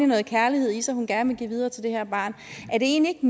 noget kærlighed i sig hun gerne vil give videre til det her barn er det egentlig